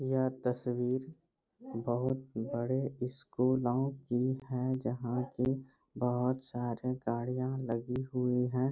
यह तस्‍वीर बहुत बड़े स्‍कूलों की है जहां की बहुत सारे गाड़िया लगी हुई है।